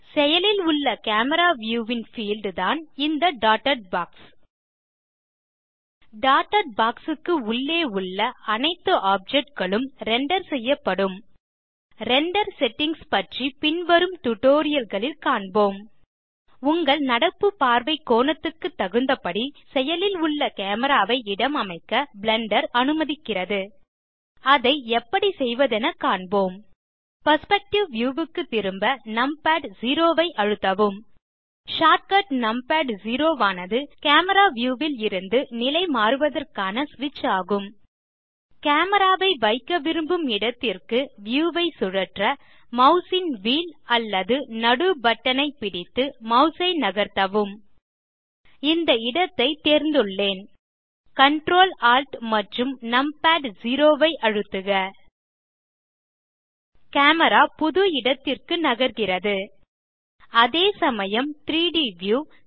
செயலில் உள்ள camera view ன் பீல்ட் தான் இந்த டாட்டட் பாக்ஸ் டாட்டட் பாக்ஸ் க்கு உள்ளே உள்ள அனைத்து ஆப்ஜெக்ட் களும் ரெண்டர் செய்யப்படும் ரெண்டர் செட்டிங்ஸ் பற்றி பின்வரும் டியூட்டோரியல் ல் காண்போம் உங்கள் நடப்பு பார்வை கோணத்துக்கு தகுந்தபடி செயலில் உள்ள கேமரா ஐ இடம் அமைக்க பிளெண்டர் அனுமதிக்கிறது அதை எப்படி செய்வதென காண்போம் பெர்ஸ்பெக்டிவ் வியூ க்கு திரும்ப நம்பாட் செரோ ஐ அழுத்தவும் ஷார்ட்கட் நம்பாட் செரோ ஆனது கேமரா வியூ ல் இருந்து நிலை மாறுவதற்கான ஸ்விட்ச் ஆகும் கேமரா ஐ வைக்க விரும்பும் இடத்திற்கு வியூ ஐ சுழற்ற மாஸ் ன் வீல் அல்லது நடு பட்டனைப் பிடித்து மாஸ் ஐ நகர்த்தவும் இந்த இடத்தை தேர்ந்துள்ளேன் கன்ட்ரோல் Alt மற்றும் நும் பாட் செரோ ஐ அழுத்தவும் கேமரா புது இடத்திற்கு நகர்கிறது அதே சமயம் 3ட் வியூ